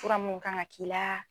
Fura mu kan ka k'i la